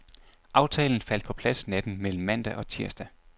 Aftalen faldt på plads natten mellem mandag og tirsdag.